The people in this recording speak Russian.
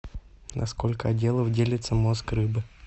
на сколько отделов делится мозг рыбы